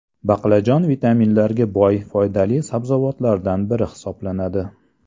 Baqlajon vitaminlarga boy foydali sabzavotlardan biri hisoblanadi.